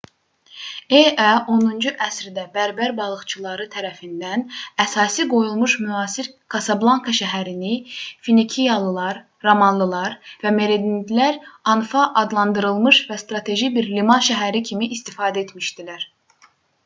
e.ə. 10-cu əsrdə bərbər balıqçıları tərəfindən əsası qoyulmuş müasir kasablanka şəhərini finikiyalılar romalılar və merenidlər anfa adlandırmış və strateji bir liman şəhəri kimi istifadə etmişdilər